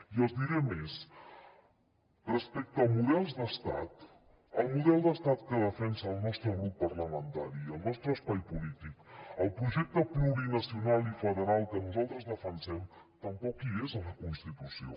i els diré més respecte a models d’estat el model d’estat que defensa el nostre grup parlamentari i el nostre espai polític el projecte plurinacional i federal que nosaltres defensem tampoc hi és a la constitució